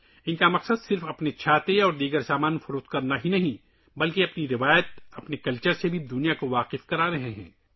ان کا مقصد نہ صرف اپنی چھتریاں اور دیگر مصنوعات فروخت کرنا ہے، بلکہ وہ دنیا کو اپنی روایت اور ثقافت سے بھی متعارف کروا رہے ہیں